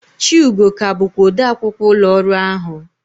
Chiugo ka bụkwa odeakwụkwọ ụlọ ọrụ ahụ.